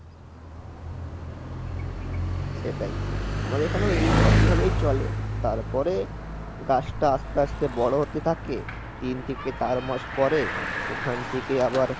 সেটাই. আমাদের এখানেও এই একই ভাবেই চলে তারপরে গাছটা আস্তে আস্তে বড় হতে থাকে তিন থেকে চার মাস পরে ওখান থেকে আবার